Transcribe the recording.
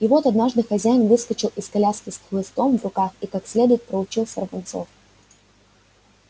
и вот однажды хозяин выскочил из коляски с хлыстом в руках и как следует проучил сорванцов